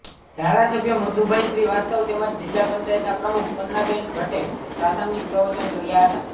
ધારાસભ્ય મધુભાઈ શ્રીવાસ્તવ તેમજ જિલ્લા પંચાયતનાં પ્રમુખ પન્નાબેન ભટ્ટે પ્રાસંગિક પ્રવચન કર્યા હતા